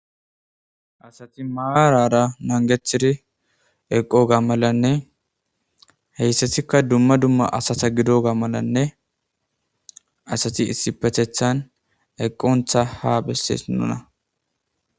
Asati maarara nangethiri eqo ga malanne heyssatikka dumma dumma asata gido ga malanne asati issi pethethan eqqontha ha bessees nuna.